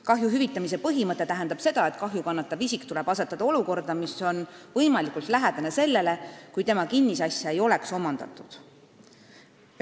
Kahju hüvitamise põhimõte tähendab seda, et kahju kannatava isiku olukord peab olema võimalikult lähedane sellele olukorrale, kus tema kinnisasja ei oleks omandatud.